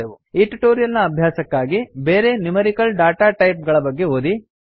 ಈ ಟ್ಯುಟೋರಿಯಲ್ ನ ಅಭ್ಯಾಸಕ್ಕಾಗಿ ಬೇರೆ ನ್ಯೂಮೆರಿಕಲ್ ಡಾಟಾ ಟೈಪ್ ಗಳ ಬಗ್ಗೆ ಓದಿ